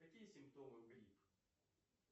какие симптомы у грипп